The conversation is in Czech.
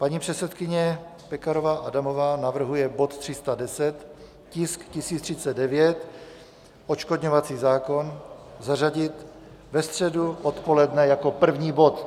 Paní předsedkyně Pekarová Adamová navrhuje bod 310, tisk 1039 - odškodňovací zákon, zařadit ve středu odpoledne jako první bod.